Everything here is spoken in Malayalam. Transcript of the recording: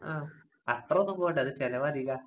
ആഹ് അത്രോന്നും പോവണ്ട, അത് ചെലവധികാ.